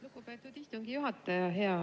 Lugupeetud istungi juhataja!